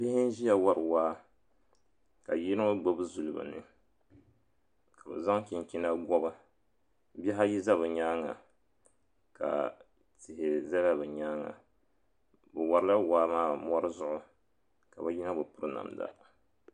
Bihi n ʒiya wari waa ka yino gbibi zuli bɛni ka o zaŋ chinchina gɔbi bihi ayi za bɛ nyaanga ka tihi zala bɛ nyaanga bɛ warila waa maa mori zuɣu ka yino bi piri namda.